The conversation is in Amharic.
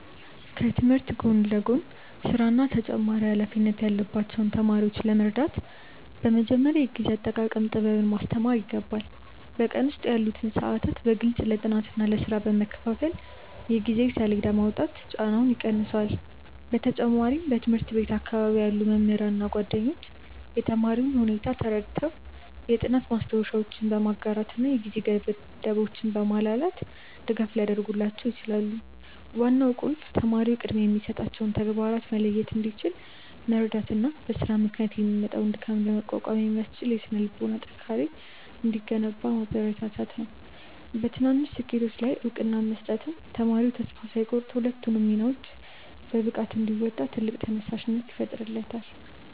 ከትምህርት ጎን ለጎን ሥራና ተጨማሪ ኃላፊነት ያለባቸውን ተማሪዎች ለመርዳት በመጀመሪያ የጊዜ አጠቃቀም ጥበብን ማስተማር ይገባል። በቀን ውስጥ ያሉትን ሰዓታት በግልጽ ለጥናትና ለሥራ በመከፋፈል የጊዜ ሰሌዳ ማውጣት ጫናውን ይቀንሰዋል። በተጨማሪም በትምህርት ቤት አካባቢ ያሉ መምህራንና ጓደኞች የተማሪውን ሁኔታ ተረድተው የጥናት ማስታወሻዎችን በማጋራትና የጊዜ ገደቦችን በማላላት ድጋፍ ሊያደርጉላቸው ይችላሉ። ዋናው ቁልፍ ተማሪው ቅድሚያ የሚሰጣቸውን ተግባራት መለየት እንዲችል መርዳትና በሥራ ምክንያት የሚመጣውን ድካም ለመቋቋም የሚያስችል የሥነ-ልቦና ጥንካሬ እንዲገነባ ማበረታታት ነው። በትናንሽ ስኬቶች ላይ እውቅና መስጠትም ተማሪው ተስፋ ሳይቆርጥ ሁለቱንም ሚናዎች በብቃት እንዲወጣ ትልቅ ተነሳሽነት ይፈጥርለታል።